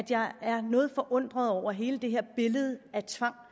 jeg er noget forundret over hele det her billede af tvang